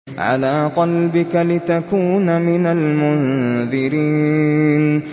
عَلَىٰ قَلْبِكَ لِتَكُونَ مِنَ الْمُنذِرِينَ